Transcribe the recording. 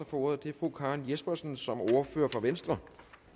får ordet er fru karen jespersen som ordfører for venstre